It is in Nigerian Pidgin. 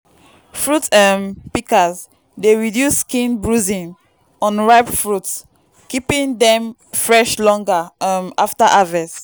fruit um pikas dey reduce skin bruising on ripe fruit keeping dem fresh longer um after harvest.